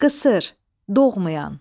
Qısır, doğmayan.